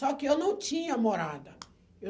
Só que eu não tinha morada. Eu